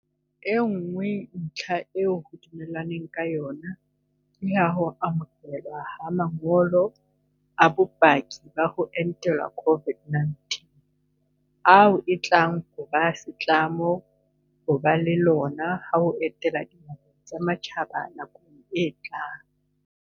E nngwe ntlha eo ho dumellanweng ka yona ke ya ho amohelwa ha ma ngolo a bopaki ba ho entelwa COVID-19 - ao e tlang ho ba setlamo ho ba le lona ha o etela dinaheng tsa matjhaba nakong e tlang.